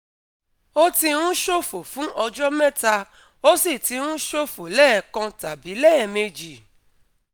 Ó ti ń ṣòfò fún ọjọ́ mẹ́ta, ó sì ti ń ṣòfò lẹ́ẹ̀kan tàbí lẹ́ẹ̀mejì